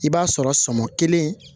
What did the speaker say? I b'a sɔrɔ sɔmɔ kelen